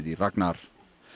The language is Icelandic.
í Ragnar